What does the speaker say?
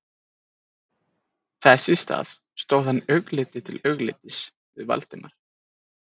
Þess í stað stóð hann augliti til auglitis við Valdimar